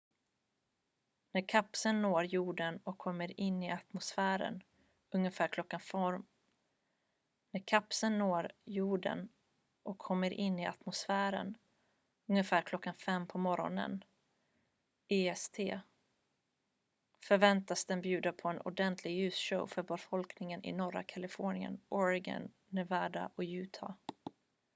när kapseln når jorden och kommer in i atmosfären ungefär klockan 5 på morgonen est förväntas den bjuda på en ordentlig ljusshow för befolkningen i norra kalifornien oregon nevada och utah